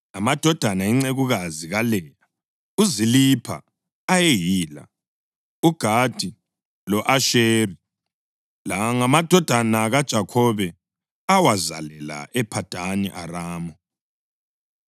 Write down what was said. Amadodana encekukazi kaLeya uZilipha ayeyila: uGadi lo-Asheri. La ayengamadodana kaJakhobe awazalela ePhadani Aramu.